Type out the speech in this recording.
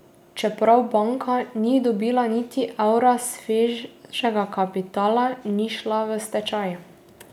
Čeprav banka ni dobila niti evra svežega kapitala, ni šla v stečaj.